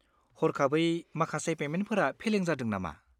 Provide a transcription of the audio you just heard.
हरखाबै माखासे पेमेन्टफोरा फेलें जादों नामा?